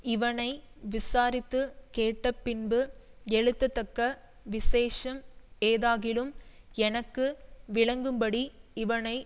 இவனை விசாரித்து கேட்டபின்பு எழுதத்தக்க விசேஷம் ஏதாகிலும் எனக்கு விளங்கும்படி இவனை